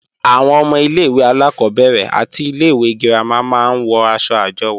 Àwọn ọmọ ilé-ìwé alákọ́bẹ̀rẹ̀ àti ilé-ìwé girama máa ń wọ̀ aṣọ àjọwò